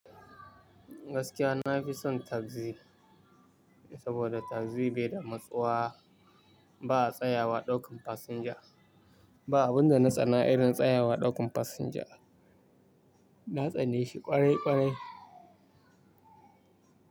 Gaskiya nafi son taxi, saboda taxi bai da matsuwa. Ba a tsayawa ɗaukan fasinja. Ba abinda na tsana irin tsayawa ɗaukan fasinja. Na tsane shi kwarai kwarai.